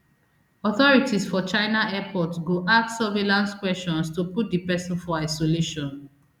authorities for china airport go ask surveillance question to put di pesin for isolation